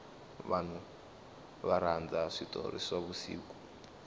vanhu varhandza switori swa vusiku